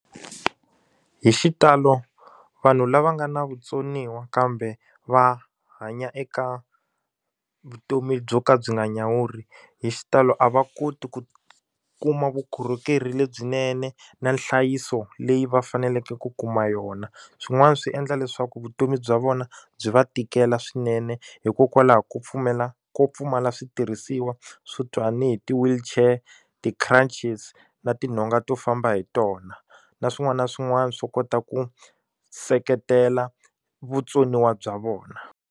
Hi xitalo vanhu lava nga na vutsoniwa kambe va hanya eka vutomi byo ka byi nga nyawuri hi xitalo a va koti ku kuma vukorhokeri lebyinene na nhlayiso leyi va faneleke ku kuma yona swin'wana swi endla leswaku vutomi bya vona byi va tikela swinene hikokwalaho ko pfumela ko pfumala switirhisiwa swo hi ti-wheelchair ti-crunches na tinhonga to famba hi tona na swin'wana na swin'wana swo kota ku seketela vutsoniwa bya vona.